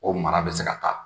O mara bɛ se ka taa.